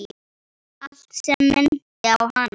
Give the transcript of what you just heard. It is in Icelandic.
Allt sem minnti á hana.